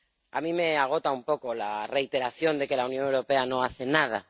A mí me agota un poco la reiteración de que la Unión Europea no hace nada.